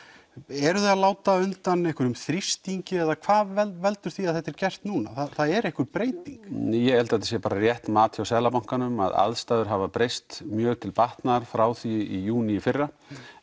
eruð þið að láta undan einhverjum þrýstingi eða hvað veldur því að þetta sé gert núna það er einhver breyting ég held að þetta sé bara rétt mat hjá Seðlabankanum að aðstæður hafa breyst mjög til batnaðar frá því í júní í fyrra